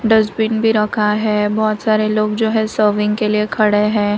Dustbin भी रखा है बहोत सारे लोग जो है सर्विंग के लिए खड़े भी हैं।